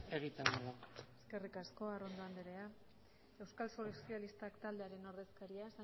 egiten dugu eskerrik asko arrondo anderea euskal sozialistak taldearen ordezkaria